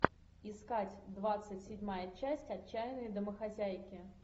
искать двадцать седьмая часть отчаянные домохозяйки